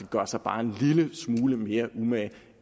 gøre sig bare en lille smule mere umage